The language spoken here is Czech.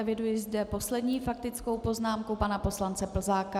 Eviduji zde poslední faktickou poznámku pana poslance Plzáka.